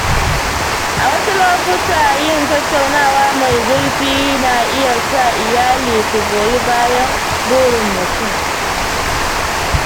A wasu lokuta, yin tattaunawa mai zurfi na iya sa iyali su goyi bayan burin mutum.